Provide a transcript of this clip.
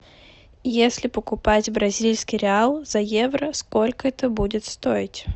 если покупать бразильский реал за евро сколько это будет стоить